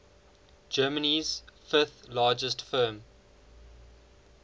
germany's fifth largest firm